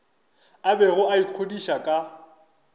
a bego a ikgodiša ka